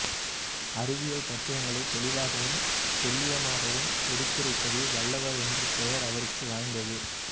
அறிவியல் தத்துவங்களை தெளிவாகவும் துல்லியமாகவும் எடுத்துரைப்பதில் வல்லவர் என்ற பெயர் அவருக்கு வாய்த்து